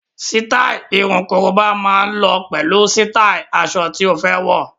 Sítáì irun korobá máa lọ pẹ̀lú sítáì aṣọ tí ó fẹ́ wọ̀.